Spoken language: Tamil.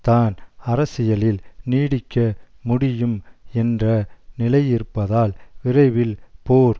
தான் அரசியலில் நீடிக்க முடியும் என்ற நிலையிருப்பதால் விரைவில் போர்